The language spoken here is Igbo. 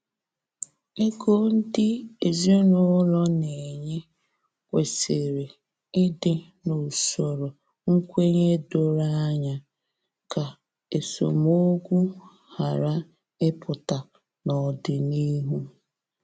Ego ndị ezinụlọ na enye kwesịrị ịdị n’usoro nkwenye doro anya, ka esemokwu ghara ịpụta n’ọdịnihu